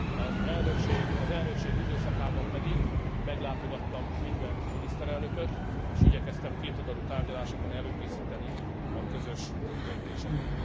Az elnökség időszakában pedig meglátogattam minden miniszterelnököt, és igyekeztem kétoldalú tárgyalásokon előkészíteni a közös döntéseket.